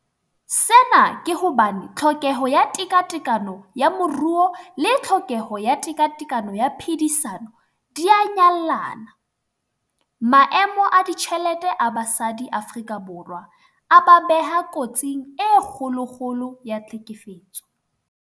Sena ke hobane tlhokeho ya tekatekano ya moruo le tlhokeho ya tekatekano ya phedisano di a nyallana. Maemo a ditjhelete a basadi Afrika Borwa a ba beha kotsing e kgolokgolo ya tlhekefetso.